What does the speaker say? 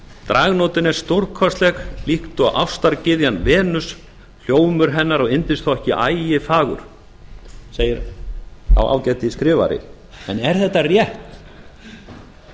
dragnótin er stórkostleg líkt og ástargyðjan venus hljómur hennar og yndisþokki ægifagur segir sá ágætiskrifari en er þetta rétt